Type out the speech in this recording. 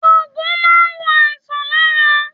Oògùn máa n wo àìsàn lára